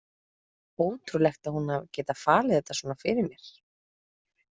Ótrúlegt að hún hafi getað falið þetta svona fyrir mér.